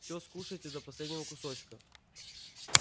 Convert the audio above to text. всё скушаете до последнего кусочка